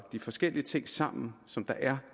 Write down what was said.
de forskellige ting sammen som der